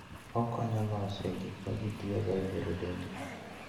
Okonyo e loso gik ma ji tiyogo e bero dendgi.